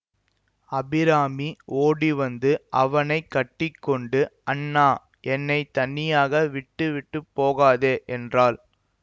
அபிராமி ஓடிவந்து அவனை கட்டி கொண்டு அண்ணா என்னை தனியாக விட்டுவிட்டு போகாதே என்றாள்